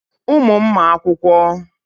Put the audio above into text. Ụmụ m ma akwụkwọ.